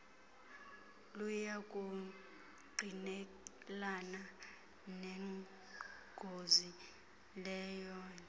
luyakungqinelana nengozi leyoethe